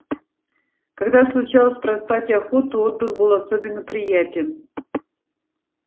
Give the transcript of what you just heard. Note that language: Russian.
когда случалось проспать охоту отдых был особенно приятен